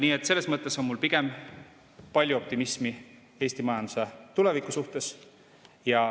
Nii et selles mõttes on mul pigem palju optimismi Eesti majanduse tuleviku suhtes.